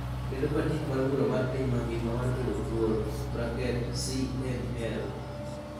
kendo patik mar bura mar piny mangima mar bedo thuolo (CNL)